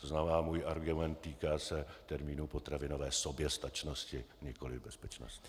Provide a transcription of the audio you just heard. To znamená, můj argument týká se termínu potravinové soběstačnosti, nikoliv bezpečnosti.